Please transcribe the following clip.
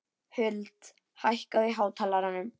Huld, hækkaðu í hátalaranum.